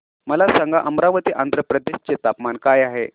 मला सांगा अमरावती आंध्र प्रदेश चे तापमान काय आहे